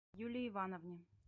юлии ивановне